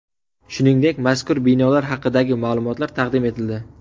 Shuningdek, mazkur binolar haqidagi ma’lumotlar taqdim etildi.